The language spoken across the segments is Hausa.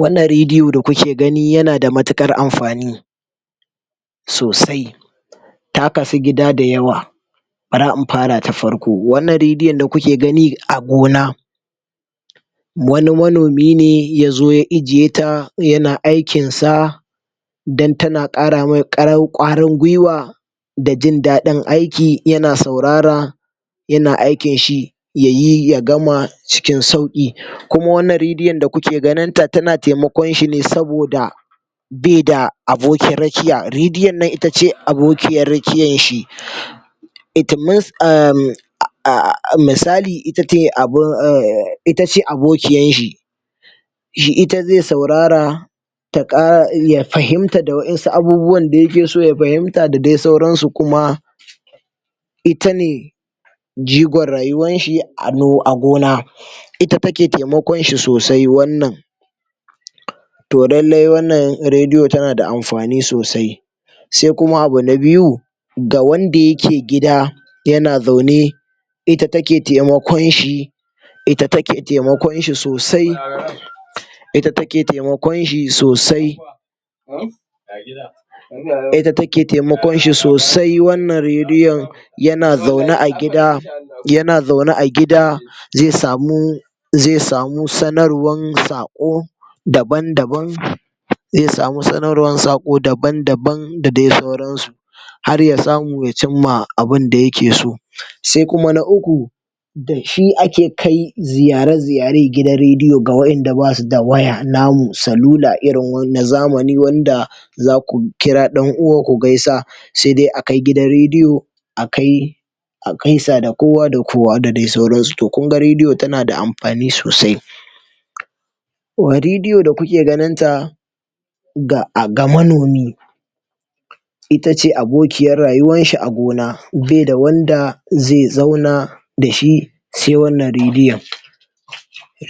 wannan radio da kuke gani yana da matuƙar amfani sosai ta kasu gida da yawa bara in fara ta farko wannan radion da kuke gani a gona wani manomi ne yazo ya ijiye ta yana aikin sa dan tana ƙara mai um ƙwarin gwiwa da jin daɗin aiki yana saurara yana aikin shi yayi ya gama cikin sauƙi kuma wannan rediyon da kuke ganinta tana taimakon shine saboda beda abokin rakiya rediyon nan ita ce abokiyar rakiyar shi um [um[ misali ita ce abun um itace abokiyar shi ita ze saurara um ya fahimta da wasu abubuwan da yake so ya fahimta da dai sauransu kuma ita ne jigon rayuwan shi um a gona ita take taimakon shi sosai wannan to lallai wannan rediyon tana da amfani sosai se kuma abu na biyu ga wanda yake gida yana zaune ita take taimakon shi ita take taimakon shi sosai um ita take taimakon shi sosai um ita take taimakon shi sosai wannan rediyon yana zaune a gida um ze samu ze samu sanarwan saƙo daban daban ze samu sanarwan saƙo daban daban da dai sauran su harya samu ya cimma abinda yake so se kuma na uku da shi ake kai ziyare ziyaer gidan rediyo ga waƴanda basu da waya namu salula irin na zamani wanda zaku kira ɗan uwa ku gaisa se dai a kai gidan rediyo akai a gaisa da kowa da kowa da dai sauran su to kunga rediyo tana da amfani sosai rediyo da kuke ganin ta um ga manomi ita ce abokiyar rayuwan shi a gona beda wanda ze zauna dashi se wannan rediyon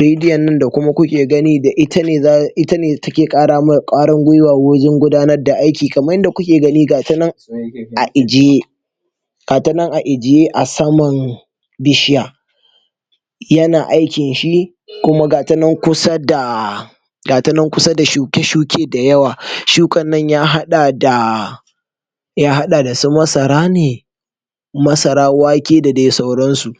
rediyon nan da kuma kuke gani da ita ne um take ƙara mai ƙwarin gwiwa wajan gudanar da aiki kaman yadda kuke gani gata nan a ijiye gata nan a ijiye a saman bishiya yana aikin shi kuma gata nan kusa da gata nan kusa da shuke shuke da yawa shukan nan ya haɗa da ya haɗa da su masara ne masara wake da dai sauran su